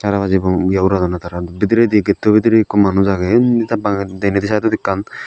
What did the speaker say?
tara baji boom eyo uradonney tara bideridi getto bidirey ekku manuj agey unni tey bang denedi sidedot ekkan.